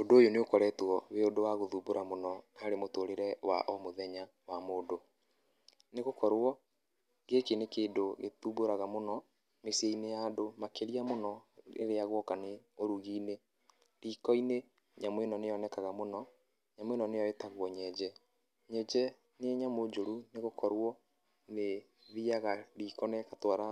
Ũndũ ũyũ nĩ ũkoretwo wĩ ũndũ wa gũthumbũra mũno harĩ mũtũrĩre wa o mũthenya wa mũndũ nĩ gũkorwo gĩkĩ nĩ kĩndũ gĩthumbũraga mũno mĩciĩ-inĩ ya andũ makĩria mũno rĩrĩa gũoka nĩ ũrugi-inĩ, riko-inĩ nyamũ ĩno nĩ yonekaga mũno nyamũ ĩno nĩyo ĩtagwo nyenje, nyenje nĩ nyamũ njũru nĩ gũkorwo nĩ ĩthiaga riko na ĩgatwara